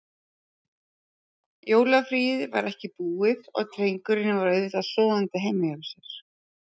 Jólafríið var ekki búið og drengurinn var auðvitað sofandi heima hjá sér.